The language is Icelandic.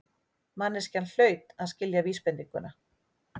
Manneskjan hlaut að skilja vísbendinguna.